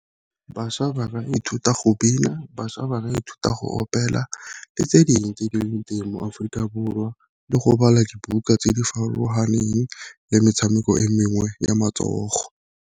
Bašwa ba ka ithuta go bina, bašwa ba ka ithuta go opela, le tse teng mo Aforika Borwa le go bala dibuka tse di farologaneng le metshameko e mengwe ya matsogo.